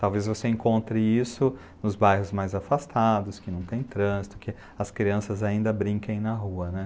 Talvez você encontre isso nos bairros mais afastados, que não tem trânsito, que as crianças ainda brinquem na rua, né?